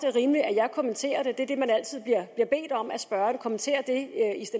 er rimeligt at jeg kommenterer det det man altid bliver bedt om af spørgerne er at kommentere det